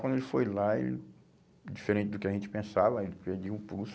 Quando ele foi lá, ele diferente do que a gente pensava, ele pediu um pulso.